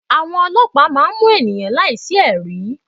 Àwọn olọ́pàá máa ń mú ènìyàn láì sí ẹ̀rí.